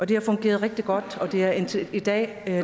den har fungeret rigtig godt og den er indtil i dag